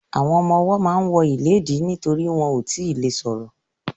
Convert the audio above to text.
Àwọn ọmọwọ́ ma ń wọ ìléèdí nítorí wọn ò tíì le ṣọ̀rọ̀.